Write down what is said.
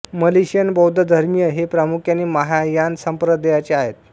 Malaysian बौद्ध धर्मीय हे प्रामुख्याने महायान संप्रदायाचे आहेत